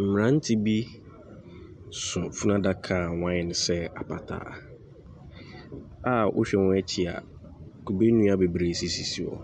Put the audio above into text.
Mmeranteɛ bi so funu adaka a wɔayɛ no sɛ apataa a wohyɛ wɔn akyi a kube nnua bebree sisisisi hɔ.